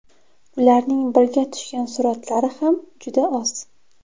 Ularning birga tushgan suratlari ham juda oz.